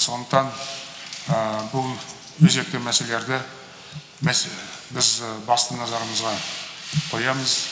сондықтан бұл өзекті мәселелерді біз басты назарымызға қоямыз